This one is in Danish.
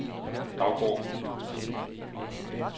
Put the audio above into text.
Daugård